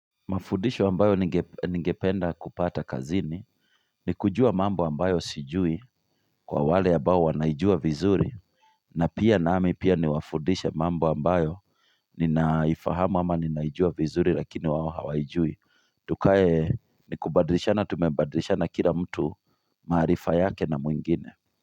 Mafundisho ambayo ningependa kupata kazini ni kujua mambo ambayo sijui kwa wale ambao wanaijua vizuri na pia nami pia niwafudishe mambo ambayo ninaifahamu ama ninaijua vizuri lakini wao hawaijui Tukae ni kubadilishana tumebadilishana kila mtu maarifa yake na mwingine.